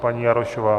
Paní Jarošová.